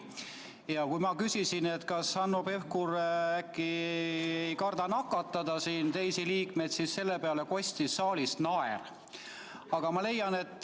Ja kui ma küsisin, kas Hanno Pevkur ei karda teisi liikmeid nakatada, siis selle peale kostis saalist naer.